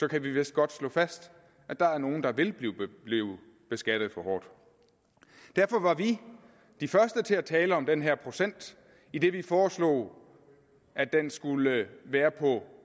kan vi vist godt slå fast at der er nogle der vil blive beskattet for hårdt derfor var vi de første til at tale om den her procent idet vi foreslog at den skulle være på